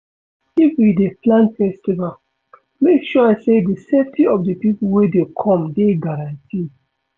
If you dey plan festival, make sure sey di safety of di pipo wey dey come dey guaranteed